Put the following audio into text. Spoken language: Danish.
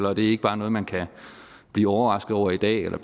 og det er ikke bare noget man kan blive overrasket over i dag eller